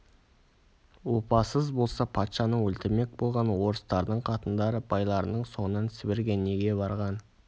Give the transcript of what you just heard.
опасыз болса патшаны өлтірмек болған орыстардың қатындары байларының соңынан сібірге неге барған